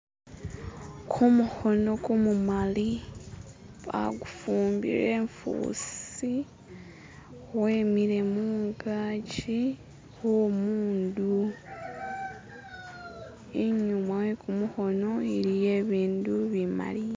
Kumukhono kumumali akufumbile e'fusi wemile mungaki khwomundu inyuma wekumukhono iliyo i'bindu bimali.